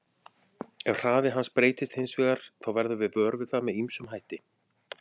Ef hraði hans breytist hins vegar þá verðum við vör við það með ýmsum hætti.